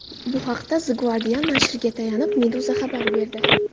Bu haqda The Guardian nashriga tayanib, Meduza xabar berdi .